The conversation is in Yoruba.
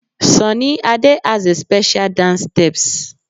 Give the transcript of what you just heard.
Sunny Ade has a special dance steps